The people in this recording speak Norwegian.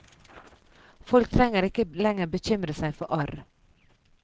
Folk trenger ikke lenger bekymre seg for arr.